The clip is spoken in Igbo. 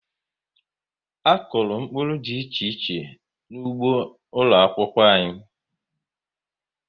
A kọrọ mkpụrụ dị iche iche n'ụgbọ ụlọ akwụkwọ anyị